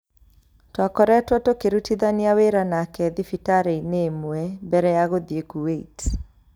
Twakoretwo tũkĩrutithania wĩra nake thibitarĩ-inĩ ĩmwe mbere ya gũthiĩ Kuwait.